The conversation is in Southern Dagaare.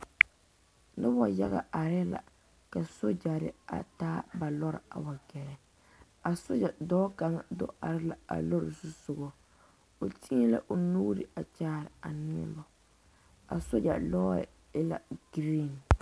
Nobɔ yaga are la ka Sogyɛre a taa ba lɔre a wa gɛrɛ a sogyɛ dɔɔ kaŋ do are la a lɔre zusugɔ o teɛ la o nuure a kyaare a nobɔ a sogyɛ lɔɔre e la green.